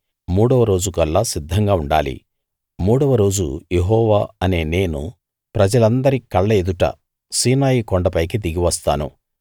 మూడవ రోజుకల్లా సిద్ధంగా ఉండాలి మూడవ రోజు యెహోవా అనే నేను ప్రజలందరి కళ్ళెదుట సీనాయి కొండ పైకి దిగివస్తాను